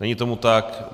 Není tomu tak.